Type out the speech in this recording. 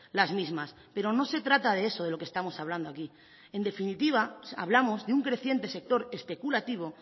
las mismas pero no se trata de eso de lo que estamos hablando aquí en definitiva hablamos de un creciente sector especulativo